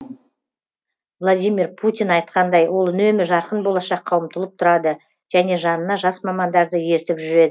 владимир путин айтқандай ол үнемі жарқын болашаққа ұмтылып тұрады және жанына жас мамандарды ертіп